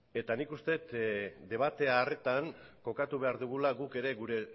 eta nik uste dut debate horretan kokatu behar dugula guk ere gure